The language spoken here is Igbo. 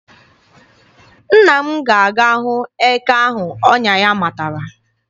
Nna m ga-aga hụ eke ahụ ọnya ya matara.